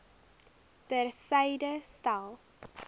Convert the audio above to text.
ter syde stel